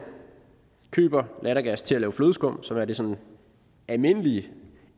køber lattergas til at lave flødeskum som er det sådan almindelige